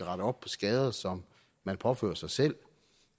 op på skader som man påfører sig selv